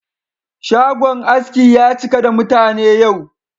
Shagon askin ya cika da mutane yau.